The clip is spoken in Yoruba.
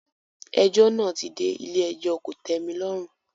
Ẹjọ́ náà ti dé ilé-ẹjọ́ kò tẹ́mi lọ́rùn.